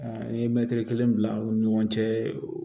A ye mɛtiri kelen bila aw ni ɲɔgɔn cɛ